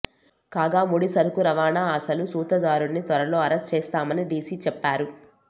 కాగా ముడి సరుకు రవాణా అసలు సూత్రధారుడిని త్వరలో అరెస్టు చేస్తామని డీసీ చెప్పారు